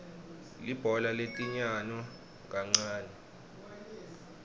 libhola letinyano kangnane